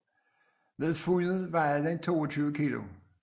Ved fundet vejede den 22 kilo